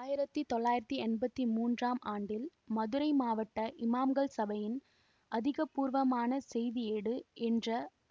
ஆயிரத்தி தொள்ளாயிரத்தி எம்பத்தி மூன்றாம் ஆண்டில் மதுரை மாவட்ட இமாம்கள் சபையின் அதிகாரபூர்வமான செய்தியேடு என்ற